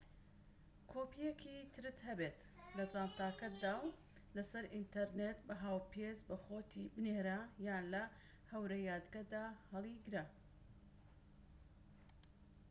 کۆپیەکی ترت هەبێت لە جانتاکەتدا و لەسەر ئینتەرنێت بە هاوپێچ بۆخۆتی بنێرە، یان لە هەورەیادگە"دا هەلیگرە